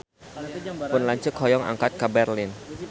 Pun lanceuk hoyong angkat ka Berlin